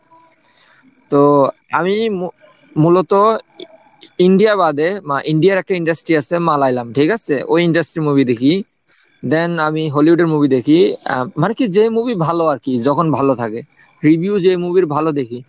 তো আমি মূ~মূলত ইন্ডিয়া বাদে বা ইন্ডিয়ার একটা industry আছে মালাইলাম ঠিক আছে? ওই industry movie দেখি then আমি হলিউডের movie দেখি আহ মানে কি যে movie ভালো আর কি যখন ভালো থাকে। review যে movie এর ভালো দেখি,